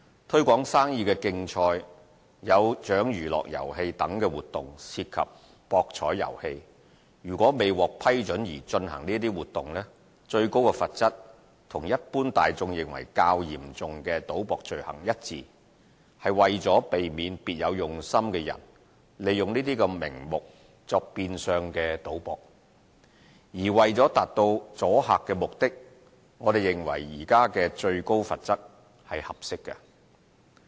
"推廣生意的競賽"、"有獎娛樂遊戲"等活動涉及博彩遊戲，如未獲批准而進行這些活動，最高罰則與一般大眾認為較嚴重的賭博罪行一致，是為了避免別有用心的人利用這些名目作變相賭博；而為了達到阻嚇目的，我們認為現時的最高罰則是合適的。